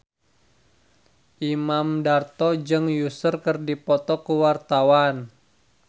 Imam Darto jeung Usher keur dipoto ku wartawan